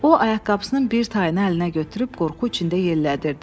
O, ayaqqabısının bir tayını əlinə götürüb qorxu içində yellədirdi.